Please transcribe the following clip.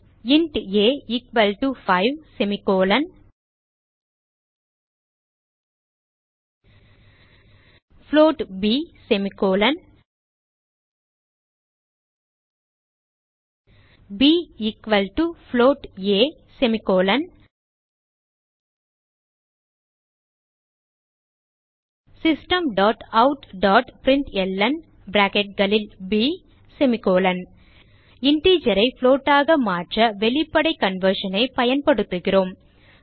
int a 5 float ப் ப் float a systemoutபிரின்ட்ல்ன் integer ஐ float ஆக மாற்ற வெளிப்படை conversion ஐ பயன்படுத்துகிறோம்